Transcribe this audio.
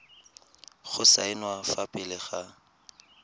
go saenwa fa pele ga